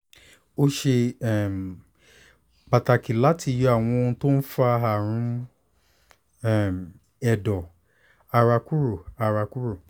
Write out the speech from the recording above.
ó ṣe um pàtàkì láti yọ àwọn ohun tó ń fa àrùn um ẹ̀dọ̀ ara kúrò ara kúrò um